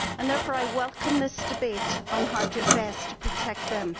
Therefore I welcome this debate on how best to protect them.